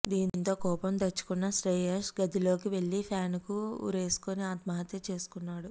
దీంతో కోపం తెచ్చుకున్న శ్రేయస్ గదిలోకి వెళ్లి ఫ్యాన్ కు ఉరేసుకుని ఆత్మహత్య చేసుకున్నాడు